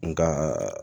Nga